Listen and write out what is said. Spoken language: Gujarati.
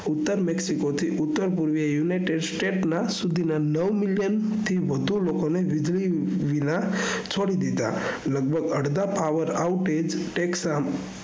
ઉતર mexico થી ઉતર પૂર્વીય united states સુઘી ના નવ million થી વઘુ લોકો ને વીજળી વિના છોડી દીઘા લગભગ અળઘા પાવર આઉટે ટેક્સ